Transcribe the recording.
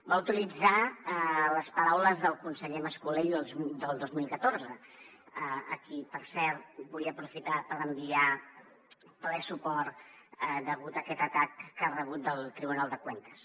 va utilitzar les paraules del conseller mas colell del dos mil catorze a qui per cert vull aprofitar per enviar ple suport degut a aquest atac que ha rebut del tribunal de cuentas